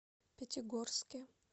пятигорске